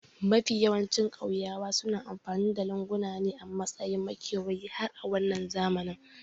Mafiya yawancin ƙauyawa suna amfani da lunguna ne a matsayin makewayi har a wannan zamani